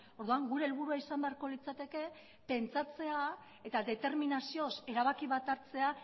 orduan gure helburua izan beharko litzateke pentsatzea eta determinazioz erabaki bat hartzea